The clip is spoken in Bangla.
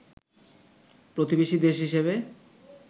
প্রতিবেশী দেশ হিসেবে